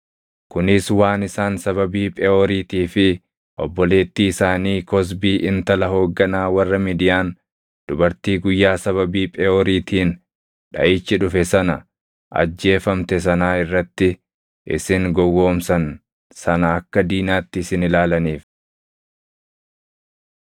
kunis waan isaan sababii Pheʼooriitii fi obboleettii isaanii Kozbii intala hoogganaa warra Midiyaan, dubartii guyyaa sababii Pheʼooriitiin dhaʼichi dhufe sana ajjeefamte sanaa irratti isin gowwoomsan sana akka diinaatti isin ilaalaniif.”